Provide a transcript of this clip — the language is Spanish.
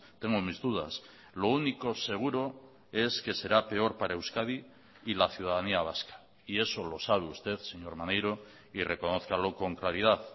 tengo mis dudas lo único seguro es que será peor para euskadi y la ciudadanía vasca y eso lo sabe usted señor maneiro y reconózcalo con claridad